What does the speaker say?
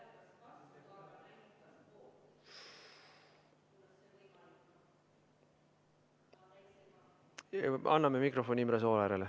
Anname mikrofoni Imre Sooäärele.